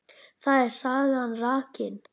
Þar er sagan rakin.